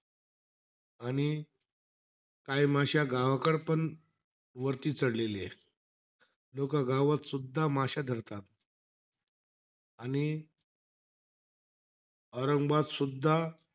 आणि काही माश्या गावाकडेपण वरती चढलेल्या आहे. लोक गावात सुद्धा माश्या धरतात. आणि औरंगबादसुद्धा.